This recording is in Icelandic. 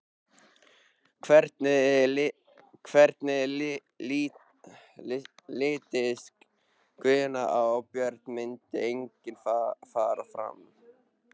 Hvernig litist Guðna á að Björn myndi einnig fara fram?